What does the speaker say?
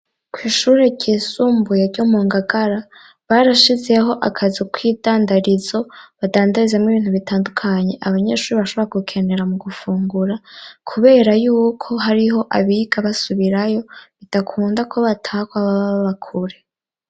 Kw'ishure ryisumbuye ryo mu Ngagara barashizeho akazu k'idandarizo badandarizamwo ibintu bitandukanye abanyeshuri bashoborga gukenera mu gufungura, kubera yuko hariho abiga basubirayo, bidakunda ko bataha ko baba baba kure.